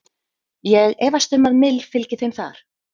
Ég efast um að Mill fylgi þeim þar.